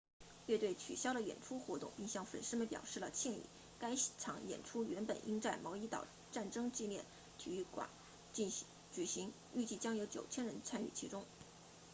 乐队取消了演出活动并向粉丝们表示了歉意该场演出原本应在毛伊岛战争纪念体育场举行预计将有9000人参与其中